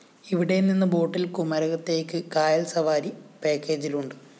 ഇവിടെ നിന്ന് ബോട്ടില്‍ കുമരകത്തേയ്ക്ക് കായല്‍ സവാരി പാക്കേജിലുണ്ട്